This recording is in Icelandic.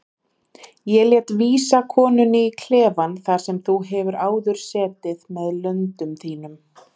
Ég lét vísa konunni í klefann þar sem þú hefur áður setið með löndum þínum.